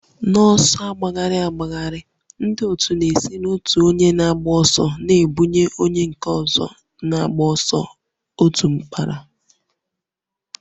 N'ọsọ agbagharị agbagharị, ndị otu na-esi n'otu onye na-agba ọsọ na-ebunye onye na-agba ọsọ otu mkpara